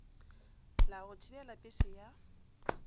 la go thibela pese ya